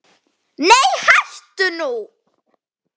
Nei hættu nú!